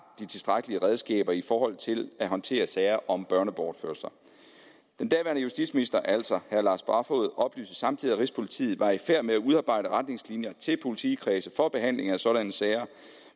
de tilstrækkelige redskaber i forhold til at håndtere disse sager om børnebortførelser den daværende justitsminister altså herre lars barfoed oplyste samtidig at rigspolitiet var i færd med at udarbejde retningslinjer til politikredsene for behandlingen af sådanne sager